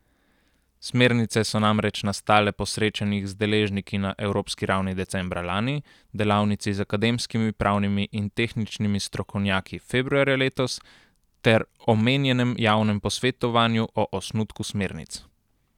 Smernice so namreč nastale po srečanjih z deležniki na evropski ravni decembra lani, delavnici z akademskimi, pravnimi in tehničnimi strokovnjaki februarja letos ter omenjenem javnem posvetovanju o osnutku smernic.